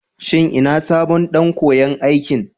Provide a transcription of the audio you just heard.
Shin ina sabon ɗan koyan aikin?